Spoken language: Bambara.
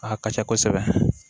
A ka ca kosɛbɛ